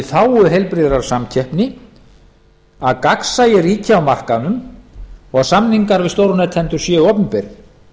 þágu heilbrigðrar samkeppni að gagnsæi ríki á markaðnum og að samningar við stórnotendur séu opinberir